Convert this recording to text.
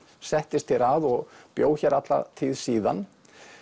settist hér að og bjó hér alla tíð síðan